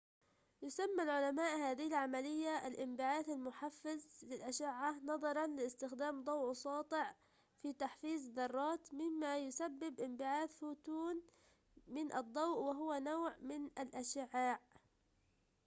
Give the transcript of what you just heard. يسمي العلماء هذه العملية الانبعاث المحفِّز للإشعاع نظراً لاستخدام ضوء ساطع في تحفيز الذرات مما يسبب انبعاث فوتون من الضوء وهو نوع ٌمن الإشعاع